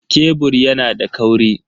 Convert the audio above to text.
Kebur yana da kauri.